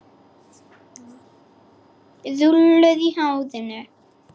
Rúllur í hárinu.